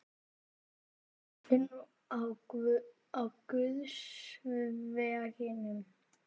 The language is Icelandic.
Ert nú á guðs vegum.